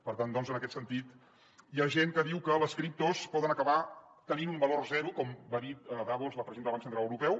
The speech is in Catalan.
per tant en aquest sentit hi ha gent que diu que les criptos poden acabar tenint un valor zero com va dir a davos la presidenta del banc central europeu